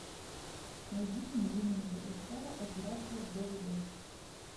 найди пингвины мадагаскара операция двд